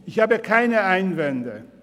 Ich habe keine Einwände.